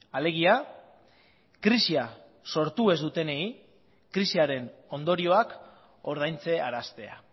alegia krisia sortu ez dutenei krisiaren ondorioak ordaintzearaztea